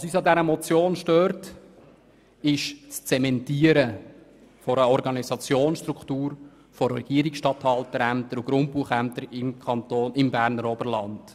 Uns stört an dieser Motion das Zementieren einer Organisationsstruktur von Regierungsstatthalter- und Grundbuchämtern im Berner Oberland.